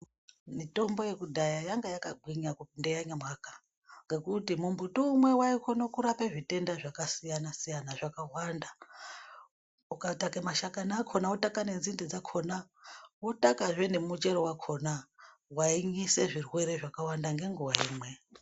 Mitombo yekudhaya yanga yakagwinya kupinda yanyamwaka ngokuti muti umwe waikone kurape zvitenda zvakasiyana siyana zvakawanda. Ukataka mashakani akona wotaka nenzinde dzakona wotakazve nemuchero wakona wainyise zvirwere zvakawanda ngenguwa imwe.